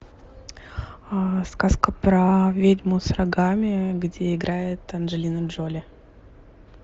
сказка про ведьму с рогами где играет анджелина джоли